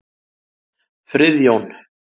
Friðjón